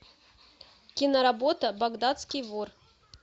киноработа багдадский вор